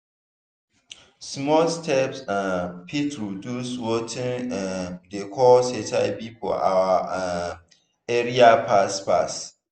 small steps um fit reduce watin um dey cause hiv for our um area fast fast.